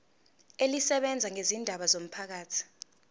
elisebenza ngezindaba zomphakathi